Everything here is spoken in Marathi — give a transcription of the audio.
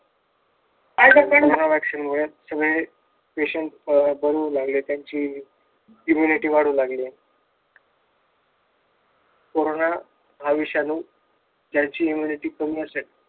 कोरोना वॅक्सीन मुळे सगळे patient बरे होऊ लागले त्यांची humanity वाढू लागलेय कोरोना हा विषाणू ज्यांची humanity कमी असेल